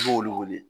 I b'olu wele